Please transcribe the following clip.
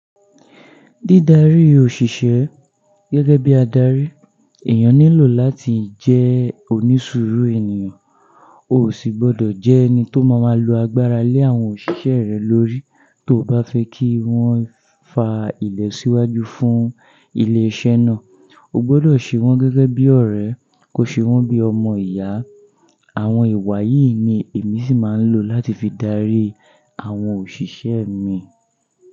Dídarí òṣìṣẹ́ gẹ́gẹ́ bí adarí, èèyàn nílò láti jẹ́ onísùúrù ènìyàn, ò sì gbọ́dọ̀ jẹ́ ẹni tó máa máa lo agbára lé àwọn òṣìṣẹ́ rẹ lórí. Tó o bá fẹ́ kí wọ́n fa ilo síwájú fún ilé iṣẹ́ náà, o gbọ́dọ̀ ṣe wọ́n gẹ́gẹ́ bí ọ̀rẹ́, kò ṣe wọ́n bí ọmọ ìyá. Àwọn ìwà yìí ni èmi sì máa ń lò láti fi dárí àwọn òṣìṣẹ́ mi.